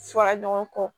Fɔra ɲɔgɔn kɔ